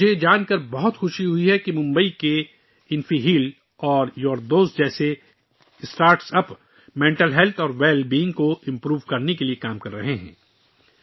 مجھے یہ جان کر بہت خوشی ہوئی کہ ممبئی میں قائم اسٹارٹ اپس جیسے انفی ہیل اور یور دوست دماغی صحت اور تندرستی کو بہتر بنانے کے لیے کام کر رہے ہیں